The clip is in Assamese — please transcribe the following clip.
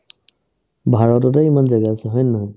ভাৰততে ইমান জাগা আছে হয়নে নহয় ?